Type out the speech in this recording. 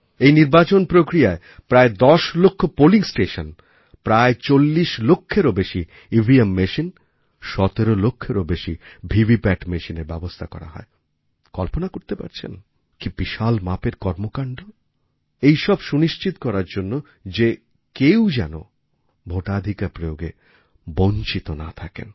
এই নির্বাচন প্রক্রিয়ায় প্রায় দশ লক্ষ পোলিং স্টেশন প্রায় চল্লিশ লক্ষের বেশি EVMমেশিন ১৭ লক্ষের বেশি ভিভিপ্যাট মেশিনের ব্যবস্থা করা হয় কল্পনা করতে পারছেন কী বিশাল মাপের কর্মকাণ্ড এইসব সুনিশ্চিত করার জন্য যে কেউ যেন তার ভোটাধিকার প্রয়োগে বঞ্চিত না থাকেন